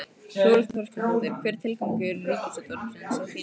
Þórhildur Þorkelsdóttir: Hver er tilgangur Ríkisútvarpsins að þínu mati?